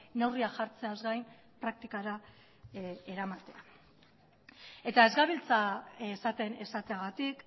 neurriak jartzeaz gain praktikara eramatea eta ez gabiltza esaten esateagatik